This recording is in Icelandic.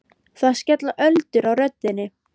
Það skella öldur á rödd þinni.